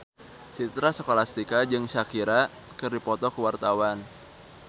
Citra Scholastika jeung Shakira keur dipoto ku wartawan